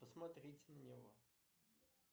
посмотрите на него